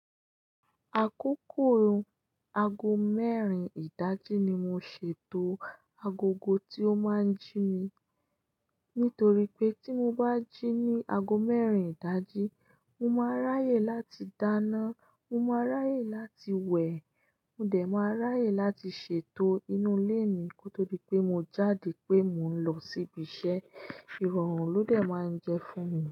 Àkókò aago mẹ́rin ìdájí ni mo ṣètò agogo tí ó máa ń jí mi. Nítorí pé tí mo bá jí ní aago mẹ́rin ìdájí, mo máa ráyè láti dáná, mo máa ráyè láti wẹ̀, mo dẹ̀ máa ráyè láti ṣètò inú ilé mi kó tó di pé mo jáde pé mò ń lọ síbi iṣẹ́. Ìrọ̀rùn ló dẹ̀ máa ń jẹ fún mi.